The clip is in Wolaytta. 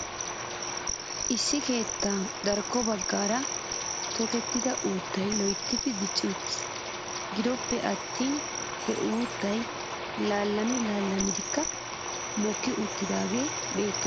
Issi keettaa darkko baggaara tokettida uuttay loytti dicci uttis. Gido ppe attin he uuttay laalami laammidi mokki uttidaagee beettes .